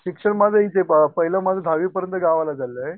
शिक्षण माझं हेच आहे पाहिलं माझं दहावीपर्यंत गावाला झालं आहे